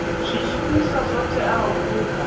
zwishumiswa zwo teaho u bva